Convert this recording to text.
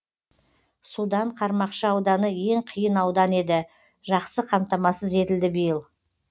судан қармақшы ауданы ең қиын аудан еді жақсы қамтамасыз етілді биыл